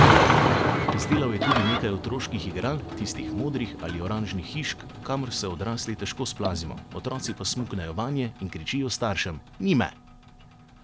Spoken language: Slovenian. Izdelal je tudi nekaj otroških igral, tistih modrih ali oranžnih hišk, kamor se odrasli težko splazimo, otroci pa smuknejo vanje in kričijo staršem: 'Ni me!